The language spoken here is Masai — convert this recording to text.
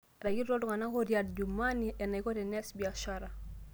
Etayiolito ltung'ana ooti Adjumani enaiko teneas biashara